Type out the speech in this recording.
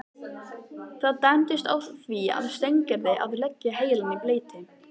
Það dæmdist því á Steingerði að leggja heilann í bleyti.